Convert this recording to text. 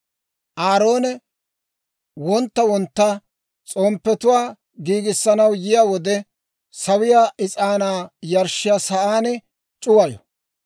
«Aaroone wontta wontta s'omppetuwaa giigisanaw yiyaa wode, sawiyaa is'aanaa yarshshiyaa sa'aan c'uwayo.